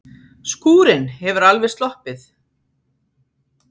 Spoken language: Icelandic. Skúrinn hefur alveg sloppið?